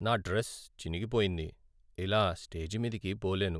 నా డ్రెస్ చినిగిపోయింది. ఇలా స్టేజి మీదికి పోలేను.